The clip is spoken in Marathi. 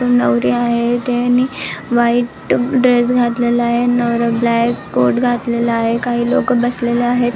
नवरी आहे तेनी व्हाईट ड्रेस घातलेला आहे नवरा ब्लॅक कोट घातलेला आहे काही लोक बसलेले आहेत.